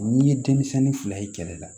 N'i ye denmisɛnnin fila ye kɛlɛ la